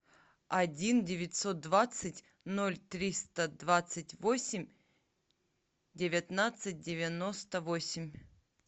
один девятьсот двадцать ноль триста двадцать восемь девятнадцать девяносто восемь